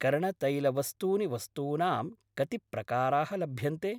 कर्णतैलवस्तूनि वस्तूनां कति प्रकाराः लभ्यन्ते?